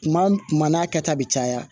Tuma tuma n'a kɛta bi caya